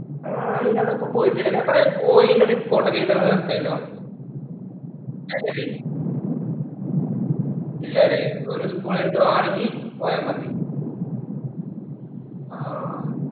ആഹ് നിങ്ങളപ്പോ പോയില്ലലെ അപ്പോ പോയെൻറ്റെ report ഒക്കെ എഴുതണം ന്നു പറഞ്ഞിട്ടുണ്ടായല്ലോ ഇല്ലാലെ ഇല്ലാലെ ഒരു ഗുളിക വാങ്ങി പോയാമതി ആഹ്